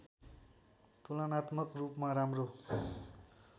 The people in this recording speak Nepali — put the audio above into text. तुलनात्मक रूपमा राम्रो